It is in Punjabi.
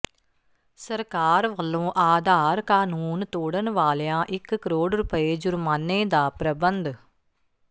ਸਰਕਾਰ ਵੱਲੋਂ ਆਧਾਰ ਕਾਨੂੰਨ ਤੋੜਣ ਵਾਲਿਆਂ ਇਕ ਕਰੋੜ ਰੁਪਏ ਜੁਰਮਾਨੇ ਦਾ ਪ੍ਰੰਬਧ